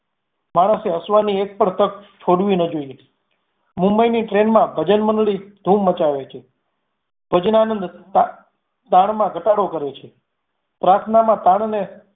માણસે હસવાની એક પણ તક છોડવી ન જોઈએ. મુંબઈની train માં ભજન મંડળી ધૂમ મચાવે છે. ભજનાનંદ તાણ મા ઘટાડો કરે છે પ્રાર્થનામાં તાણ ને